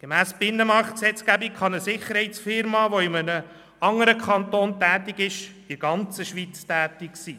Gemäss der Binnenmarktgesetzgebung kann eine Sicherheitsunternehmung, die in einem bestimmten Kanton tätig ist, in der ganzen Schweiz tätig sein.